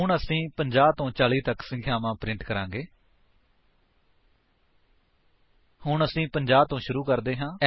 ਹੁਣ ਅਸੀ 50 ਤੋਂ 40 ਤੱਕ ਸੰਖਿਆਵਾਂ ਪ੍ਰਿੰਟ ਕਰਾਂਗੇ ਹੁਣ ਅਸੀ 50 ਤੋਂ ਸ਼ੁਰੂ ਕਰਦੇ ਹਾਂ